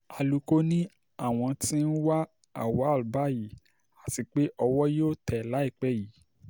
alūkó ni àwọn tí ń wá auwal báyìí àti pé owó yóò tẹ̀ ẹ́ láìpẹ́ yìí